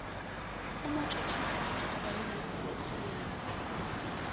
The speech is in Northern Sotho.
go motšhotšhisi mogolwane mo seleteng